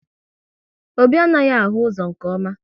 Obi anaghị ahụ ụzọ nke ọma